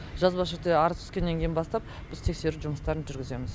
жазбаша түрде арыз түскеннен кейін бастап біз тексеру жұмыстарын жүргіземіз